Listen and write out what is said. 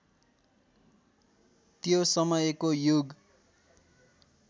त्यो समयको युग